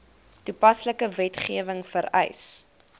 toepaslike wetgewing vereis